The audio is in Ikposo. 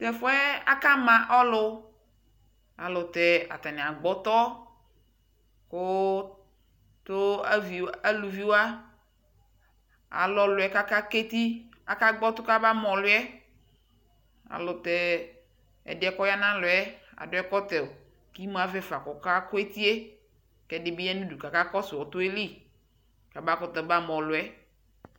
Tɛɛfuɛ akama ɔlu ayɛlutɛɛ ataniagbɔɔtɔ kuu tuu aluviwa aluɔɔluɛ kakagbɔ eti kakagbɔtɔ kamama ɔluɛayɛlutɛɛ ɛdiɛ kɔyaa nalɔɛɛ aduu ɛkɔtɔ kimuavɛ fa kɔkakuetie kɛdi bi ya nu kaka kɔsuu ɔtɔɛɛli kamabama ɔluɛ